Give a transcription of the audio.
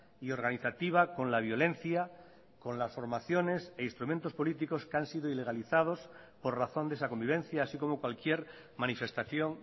y organizativa con la violencia con las formaciones e instrumentos políticos que han sido ilegalizados por razón de esa convivencia así como cualquier manifestación